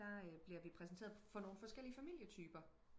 der øh bliver vi præsenteret for nogle forskellige familietyper